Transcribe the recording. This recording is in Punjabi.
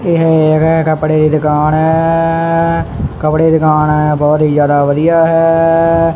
ਇਹ ਏਕ ਕੱਪੜੇ ਦੀ ਦੁਕਾਨ ਐ ਕੱਪੜੇ ਦੀ ਦੁਕਾਨ ਐ ਬਹੁਤ ਹੀ ਜਿਆਦਾ ਵਧੀਆ ਹੈ।